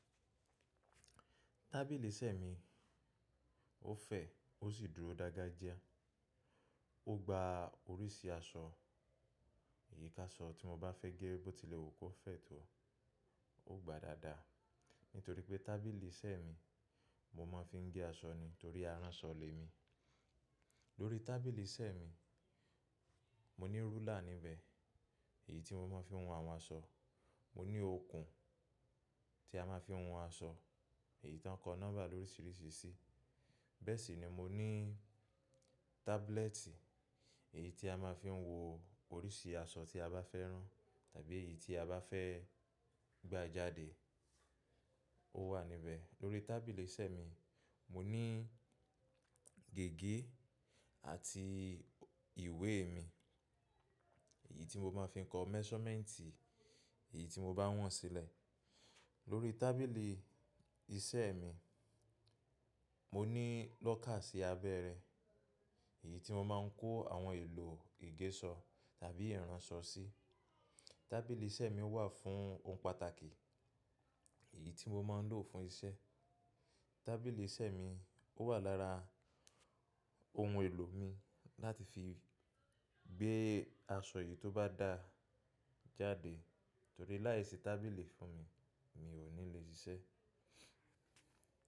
Tábìlì iṣẹ́ mi, ó fẹ̀, ó sì dúró dáadáa jẹ. Ó gba oríṣìí aṣọ, èyí ká aṣọ tí mo bá fẹ́ gé bó tilẹ̀ wù kó fẹ̀ tó, ó gba dáadáa. Nítorí pé tábìlì iṣẹ́ mi, mo máa ń fi gé aṣọ ni torí aránsọ lè mi. Lórí tábìlì iṣẹ́ mi, mo ní rúlà níbẹ̀, èyí tí mo máa ń fi won àwọn aṣọ. Mo ní okùn tí a má a fi won aṣọ, èyí tí wọ́n kọ nọ́mbà lóríṣìíríṣìí sí. Bẹ́ẹ̀ sì ni mo ní tábúlẹ́ẹ̀tì èyí tí a má a fi ń wo oríṣìí aṣọ tí a bá fẹ́ ran tàbí èyí tí a bá fẹ́ gba jáde, ó wà níbẹ̀. Lórí tábìlì iṣẹ́ mi, mo ní gègé àti ìwé mi, èyí tí mo máa fi ń kọ measurement èyí tí mo bá wọ̀n sílẹ̀. Lórí tábìlì iṣẹ́ mi, mo ní lọ́kà sí abẹ́ rẹ̀ èyí tí mo máa ń kó àwọn èlò ìgéẹ́ṣọ tàbí ìránṣọ sí. Tábìlì iṣẹ́ mi wà fún ohun pàtàkì, èyí tí mo máa ń lò fún isẹ́. Tábìlì iṣẹ́ mi ó wà lára ohun èlò mi láti fi gbé aṣọ èyí tó bá dá jáde torí láìsí tábìlì fún mi, mi ò ní le ṣiṣẹ́.